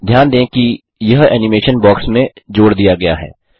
ध्यान दें कि यह एनिमेशन बॉक्स में जोड़ दिया गया है